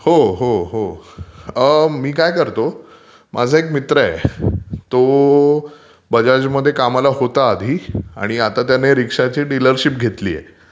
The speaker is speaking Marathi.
हो हो ...मी काय करतो माझा एक मित्र आहे तो बजाजमध्ये कामाला होता आधी, आणि आता त्याने रिक्षाची डीलरशिप घेतलीय.